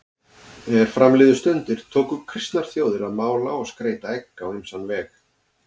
Er fram liðu stundir tóku kristnar þjóðir að mála og skreyta egg á ýmsan veg.